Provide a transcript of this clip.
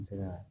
N bɛ se ka